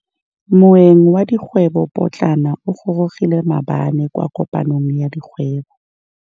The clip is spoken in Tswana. Moêng wa dikgwêbô pôtlana o gorogile maabane kwa kopanong ya dikgwêbô.